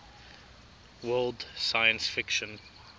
world science fiction